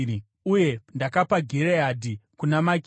Uye ndakapa Gireadhi kuna Makiri.